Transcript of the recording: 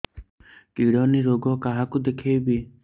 kidney ରୋଗ କାହାକୁ ଦେଖେଇବି